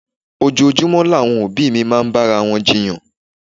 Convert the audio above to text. Ojoojúmọ́ làwọn òbí mi máa ń bára wọn jiyàn.